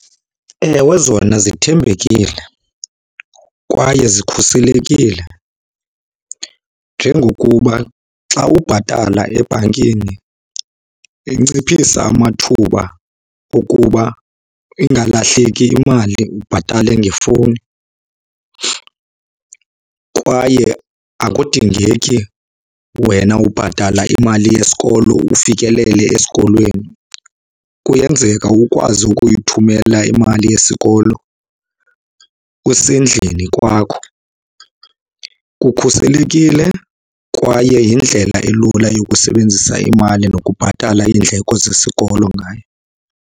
Ewe zona zithembekile kwaye zikhuselekile njengokuba xa ubhatala ebhankini inciphisa amathuba okuba ingalahleki imali ubhatale ngefowuni. Kwaye akudingeki wena ubhatala imali yesikolo ufikelele esikolweni, kuyenzeka ukwazi ukuyithumela imali yesikolo usendlini kwakho. Kukhuselekile kwaye yindlela elula yokusebenzisa imali nokubhatala iindleko zesikolo ngayo.